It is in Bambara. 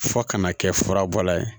Fo kana kɛ furabɔla ye